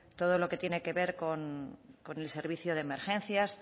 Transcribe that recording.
todo lo que tiene que ver con el servicio de emergencias